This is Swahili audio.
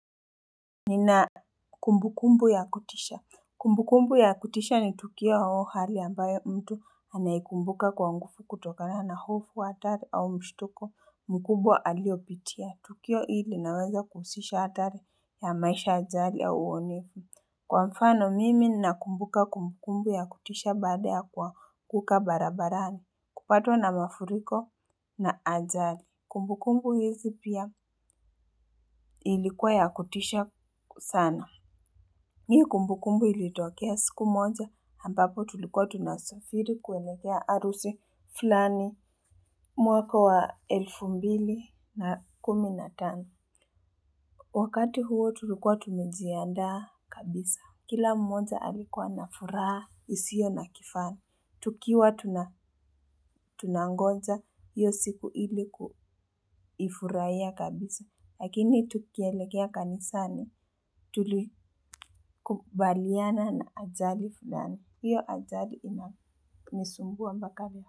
Nina kumbukumbu ya kutisha. Kumbukumbu ya kutisha ni tukio au hali ambayo mtu anaikumbuka kwa nguvu kutokana na hofu, hatari au mshtuko mkubwa aliopitia. Tukio hili inaweza kuhusisha hatari ya maisha, ajali au uonevu. Kwa mfano mimi nakumbuka kumbukumbu ya kutisha baada ya kuanguka barabarani. Kupatwa na mafuriko na ajali. Kumbukumbu hizi pia ilikuwa ya kutisha sana. Hii kumbukumbu ilitokea siku moja, ambapo tulikuwa tunasafiri kuelekea harusi fulani mwaka wa elfu mbili na kumi na tano. Wakati huo tulikuwa tumejiandaa kabisa. Kila mmoja alikuwa na furaha, isiyo na kifani. Tukiwa tunangonja, hiyo siku ilikuifurahia kabisa. Lakini tukielekea kanisani tulikubaliana na ajali fulani. Hiyo ajali inanisumbua mpaka leo.